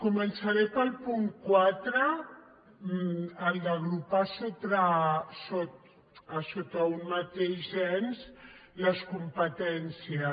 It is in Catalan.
començaré pel punt quatre el d’agrupar sota un mateix ens les competències